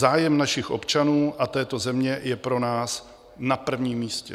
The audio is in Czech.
Zájem našich občanů a této země je pro nás na prvním místě.